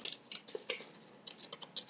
GETURÐU SVARAÐ MANNI!